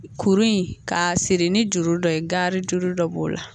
Kuru in k'a siri ni juru dɔ ye garijuru dɔ b'o la